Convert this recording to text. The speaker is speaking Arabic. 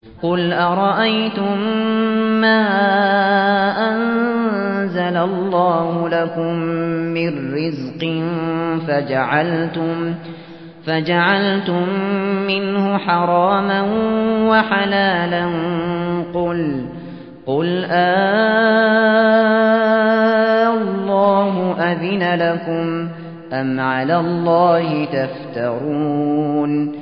قُلْ أَرَأَيْتُم مَّا أَنزَلَ اللَّهُ لَكُم مِّن رِّزْقٍ فَجَعَلْتُم مِّنْهُ حَرَامًا وَحَلَالًا قُلْ آللَّهُ أَذِنَ لَكُمْ ۖ أَمْ عَلَى اللَّهِ تَفْتَرُونَ